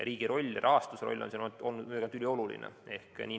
Riigi roll, rahastuse roll on siin olnud ülioluline.